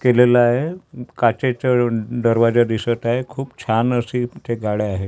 केलेला आहे काचेच्या दरवाजा दिसत आहे खूप छान अशी तिथे गाड्या आहेत.